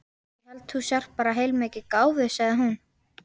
Ég held þú sért bara heilmikið gáfuð, sagði hún.